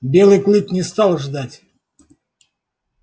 белый клык не стал ждать